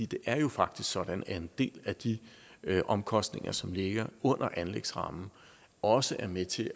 det er jo faktisk sådan at en del af de omkostninger som ligger under anlægsrammen også er med til